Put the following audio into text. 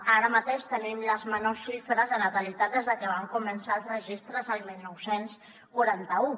ara mateix tenim les menors xifres de natalitat des de que van començar els registres el dinou quaranta u